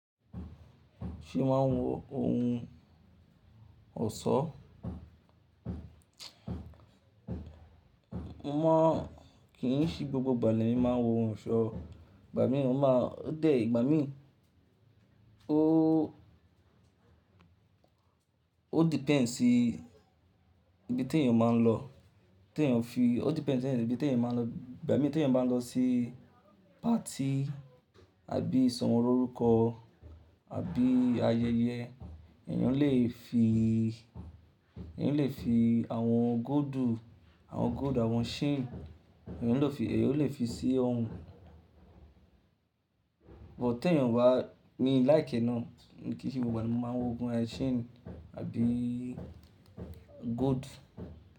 Ṣé máa ń wọ ohun ọ̀ṣọ́? Mo mọ̀ kí n sí gbogbo ìgbà ni mi máa ń wọ ohun ọ̀ṣọ́, ìgbà mìíràn máa ń, ó dé ìgbà mìíràn ó, ó depends sí ibi tí èèyàn máa ń lọ, tí èèyàn fi, ó depends ní ibi tí èèyàn máa ń lọ. Ìgbà mìíràn tí èèyàn bá ń lọ sí party àbí ìsọmọlórúkọ àbí ayẹyẹ, èèyàn lè fi, èèyàn lè fi àwọn goldù, àwọn gold, àwọn chain, èèyàn lè fi, èèyàn lè fi sí ohun. But tí èèyàn bá ní láì kẹ́na, mo kì í ṣe gbogbo ìgbà ni mo máa ń wọ ohun ẹ́ chain àbí gold.